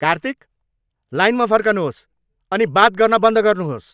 कार्तिक! लाइनमा फर्कनुहोस् अनि बात गर्न बन्द गर्नुहोस्।